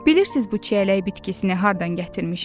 Bilirsiz bu çiyələyi bitkisini hardan gətirmişəm?